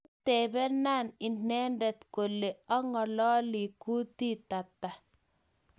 Kitebenaa inendet kole angololi kutit hata?